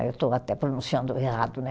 Aí eu estou até pronunciando errado, né?